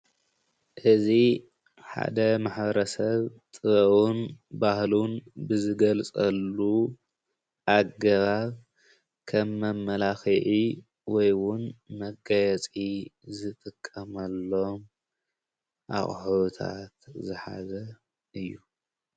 እዚ ሓደ ማሕበረሰብ ጥበቡን ባህሉን ብዝገልፀሉን ኣገባብ ከም መመለኽዒ ወይ ኸዓ መጋየፂ ዝጥመሎም ኣቁሑታት ዝሓዘ እዩ።